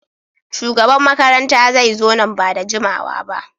Shugaban makaranta zai zo nan ba da jimawa ba.